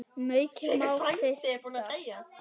Maukið má frysta.